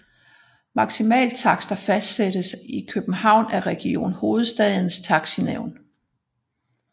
Maksimaltakster fastsættes i København af Region Hovedstadens Taxinævn